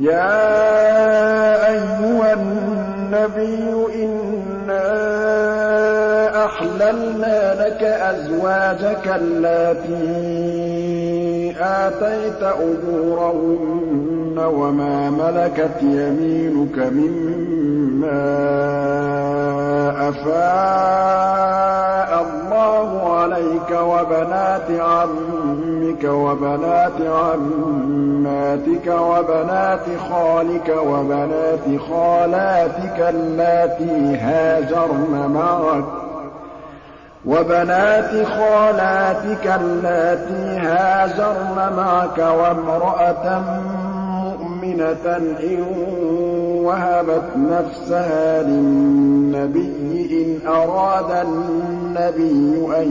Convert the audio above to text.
يَا أَيُّهَا النَّبِيُّ إِنَّا أَحْلَلْنَا لَكَ أَزْوَاجَكَ اللَّاتِي آتَيْتَ أُجُورَهُنَّ وَمَا مَلَكَتْ يَمِينُكَ مِمَّا أَفَاءَ اللَّهُ عَلَيْكَ وَبَنَاتِ عَمِّكَ وَبَنَاتِ عَمَّاتِكَ وَبَنَاتِ خَالِكَ وَبَنَاتِ خَالَاتِكَ اللَّاتِي هَاجَرْنَ مَعَكَ وَامْرَأَةً مُّؤْمِنَةً إِن وَهَبَتْ نَفْسَهَا لِلنَّبِيِّ إِنْ أَرَادَ النَّبِيُّ أَن